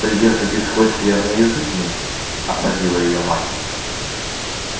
придержите свой скверный язык мисс осадила её мать